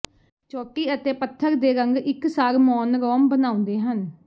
ਚੋਟੀ ਅਤੇ ਪਥਰ ਦੇ ਰੰਗ ਇਕਸਾਰ ਮੌਨਰੋਮ ਬਣਾਉਂਦੇ ਹਨ